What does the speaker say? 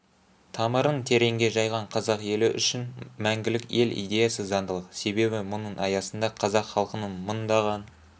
тамырын тереңге жайған қазақ елі үшін мәңгілік ел идеясы заңдылық себебі мұның аясында қазақ халқының мыңдаған